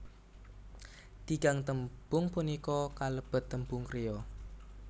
Tigang tembung punika kalebet tembung kriya